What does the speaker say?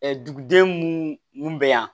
duguden mun bɛ yan